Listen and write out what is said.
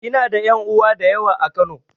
Ina da ƴan uwa da yawa a Kano.